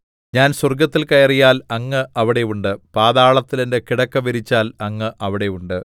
ഞാൻ സ്വർഗ്ഗത്തിൽ കയറിയാൽ അങ്ങ് അവിടെ ഉണ്ട് പാതാളത്തിൽ എന്റെ കിടക്ക വിരിച്ചാൽ അങ്ങ് അവിടെ ഉണ്ട്